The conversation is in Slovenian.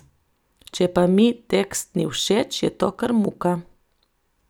Če pa mi tekst ni všeč, je to kar muka.